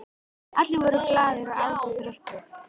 Allir voru glaðir, átu og drukku.